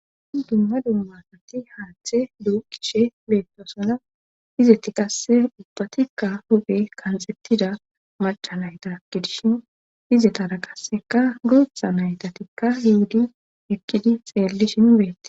I dumma dummasati haaththe duu kishe beettosona izeti qasse ubbatikka huge kanxettida macalayta kidishin hizetara qasseka guutha naytatikka hiudi ekkidi xeelli shin bette.